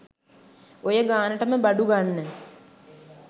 ඔය ගානටම බඩු ගන්න